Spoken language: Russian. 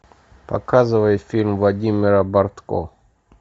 показывай фильм владимира бортко